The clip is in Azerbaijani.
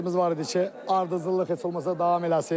Məqsədimiz var idi ki, ardıcıllıq heç olmasa davam eləsin.